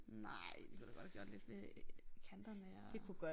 Nej de kunne da godt have gjort lidt ved kanterne og